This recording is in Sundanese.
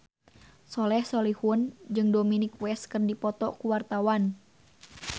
Soleh Solihun jeung Dominic West keur dipoto ku wartawan